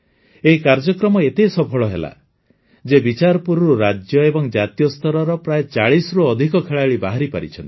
ଏହି କାର୍ଯ୍ୟକ୍ରମ ଏତେ ସଫଳ ହେଲା ଯେ ବିଚାରପୁରରୁ ରାଜ୍ୟ ଏବଂ ଜାତୀୟ ସ୍ତରର ପ୍ରାୟ ଚାଳିଶରୁ ଅଧିକ ଖେଳାଳି ବାହାରିପାରିଛନ୍ତି